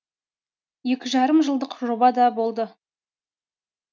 екі жарым жылдық жоба да болды